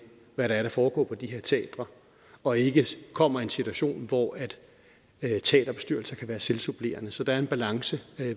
hvad det er der foregår på de her teatre og ikke kommer en situation hvor teaterbestyrelser kan være selvsupplerende så der er en balance